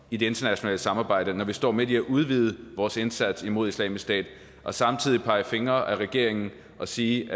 i det internationale samarbejde når vi står midt i at udvide vores indsats imod islamisk stat og samtidig pege fingre ad regeringen og sige